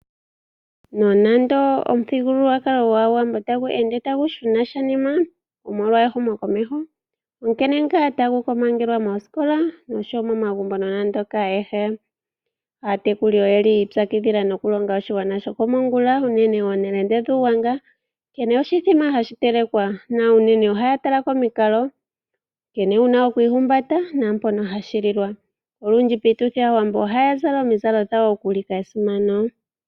Nonande omuthigululwakalo gwAawambo tagu ende tagu shuna shaanima omolwa ehumokomeho onkene ngaa tagu komangelwa moosikola osho wo momagumbo nonando hakaantu ayehe. Aatekuli oyi ipyakidhila okulonga oshigwana shokomongula unene ooNelende dhUugwanga nkene oshithima hashi telekwa na unene ohaya tala komikalo, nkene wu na oku ihumbata naampono hashi lilwa. Olundji piituthi aawambo ohaya zala omizalo dhawo ya ulike esimano.